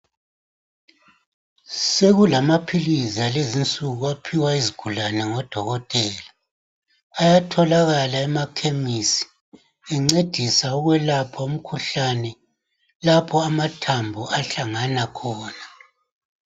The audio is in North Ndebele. Sekulamaphilizi akulezi nsuku aphiwa izigulane ngodokotela ayatholakala emakhemisi encedisa ukwelapha umkhuhlane lapho amathambo ahlangana khona.